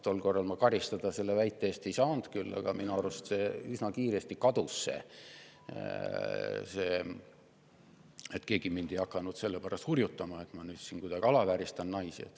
Tol korral ma selle väite eest karistada ei saanud ja minu arust kadus see üsna kiiresti, keegi ei hakanud mind selle pärast hurjutama, et ma naisi mingitmoodi alavääristan.